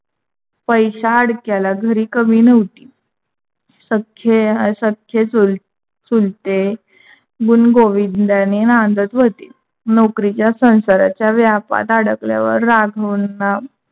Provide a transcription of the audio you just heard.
पैसा अडक्याला घरी कमी नव्हती सख्खे, असख्खे, चुलते गुण गोविंद्याणे नांदत होते. नौकारीच्या सांसारच्या व्यापात अडकल्यावर राघवांना